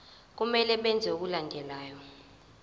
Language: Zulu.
kumele benze okulandelayo